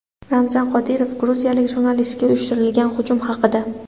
Ramzan Qodirov gruziyalik jurnalistga uyushtirilgan hujum haqida.